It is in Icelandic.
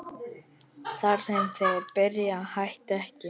Þeir sem byrja hætta ekki!